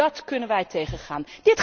Dat kunnen wij tegengaan.